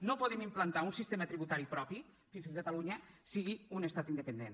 no podem implantar un sistema tributari propi fins que catalunya no sigui un estat independent